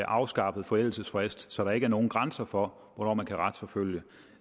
afskaffer forældelsesfristen så der ikke er nogen grænser for hvornår man kan retsforfølge